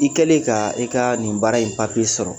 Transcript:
I kɛlen ka i ka nin baara in papiye sɔrɔ